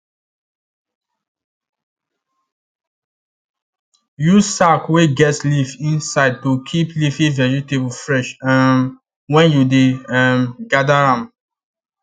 use sack wey get leaf inside to keep leafy vegetable fresh um when you dey um gather am